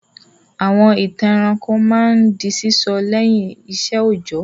Àwọn ìtàn ẹranko máa ń di sísọ lẹ́yìn iṣẹ́ òjọ́.